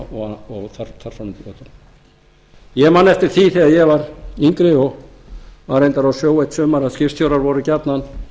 þar fram eftir götunum ég man eftir því þegar ég var yngri og var á sjó eitt sumar að skipstjórar voru gjarnan